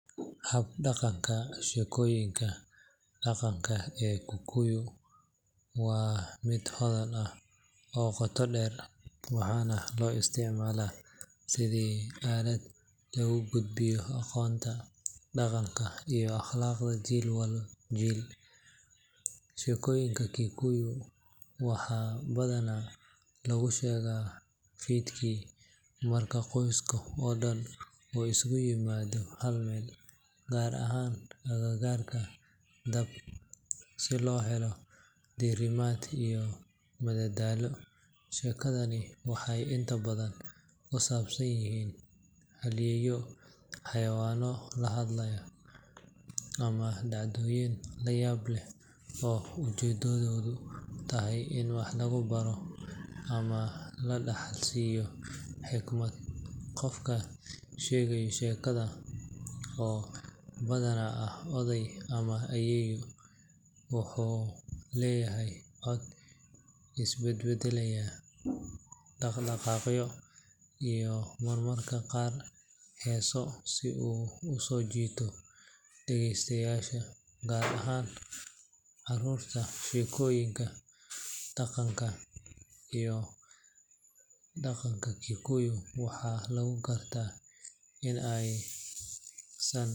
Hab-dhaqanka sheekooyinka dhaqanka ee Kikuyu waa mid hodan ah oo qoto dheer, waxaana loo isticmaalaa sidii aalad lagu gudbiyo aqoonta, dhaqanka, iyo akhlaaqda jiilba jiil. Sheekooyinka Kikuyu waxaa badanaa lagu sheegaa fiidkii marka qoyska oo dhan uu isugu yimaado hal meel, gaar ahaan agagaarka dab si loo helo diirimaad iyo madadaalo. Sheekadani waxay inta badan ku saabsan yihiin halyeeyo, xayawaan la hadla, ama dhacdooyin la yaab leh oo ujeedadoodu tahay in wax lagu baro ama la dhaxalsiiyo xikmad. Qofka sheegaya sheekada, oo badanaa ah oday ama ayeeyo, wuxuu leeyahay cod isbedbedelaya, dhaq-dhaqaaqyo iyo marmarka qaar heeso si uu u soo jiito dhageystayaasha, gaar ahaan carruurta. Sheekooyinka dhaqanka Kikuyu waxaa lagu gartaa in aysan.